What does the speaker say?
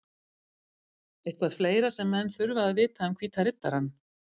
Eitthvað fleira sem menn þurfa að vita um Hvíta Riddarann?